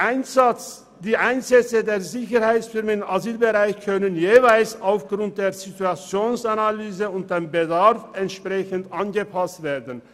Die Einsätze der Sicherheitsfirmen im Asylbereich können jeweils aufgrund der Situationsanalyse und des Bedarfs angepasst werden.